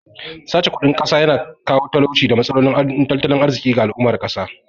Sace kudin ƙasa ya na kawo talauci da matsalolin tattalin arziƙi ga al'ummar ƙasa